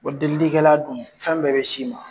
Wa delilikɛla dun fɛn bɛɛ bɛ s'i ma.